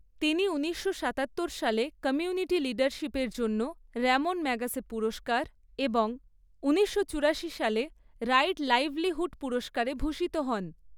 তিনি উনিশশো সাতাত্তর সালে কমিউনিটি লিডারশিপের জন্য র‍্যমোন ম্যাগ্যাসে পুরস্কার এবং উনিশশো চুরাশি সালে রাইট লাইভলিহুড পুরস্কারে ভূষিত হন।